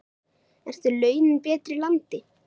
Eru launin betri í landi?